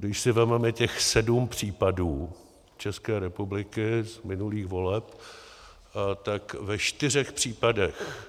Když si vezmeme těch sedm případů České republiky z minulých voleb, tak ve čtyřech případech